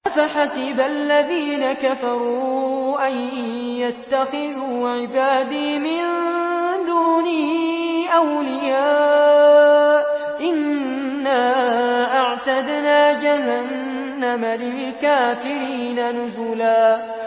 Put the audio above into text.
أَفَحَسِبَ الَّذِينَ كَفَرُوا أَن يَتَّخِذُوا عِبَادِي مِن دُونِي أَوْلِيَاءَ ۚ إِنَّا أَعْتَدْنَا جَهَنَّمَ لِلْكَافِرِينَ نُزُلًا